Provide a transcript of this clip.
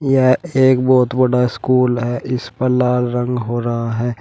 यह एक बहोत बड़ा स्कूल है इस पर लाल रंग हो रहा है।